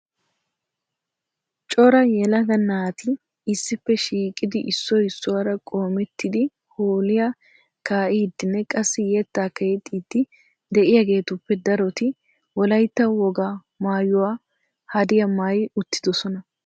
Cora yelaga naati issippe shiiqidi issoy issuwaara qoomettidi hoolliyaa kaa'idinne qassi yettakka yexxiidi de'iyaageetuppe daroti Wolaytta wogaa maayyuwaa haddiyaa maayyi uttidoosona.